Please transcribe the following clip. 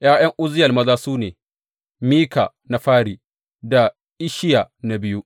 ’Ya’yan Uzziyel maza su ne, Mika na fari da Isshiya na biyu.